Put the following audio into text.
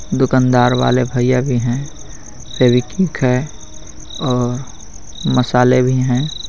दुकानदार वाले भैया भी है फेवीकिक है और मसाले भी है.